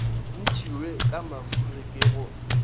ntšhiwe ka mafuri ke go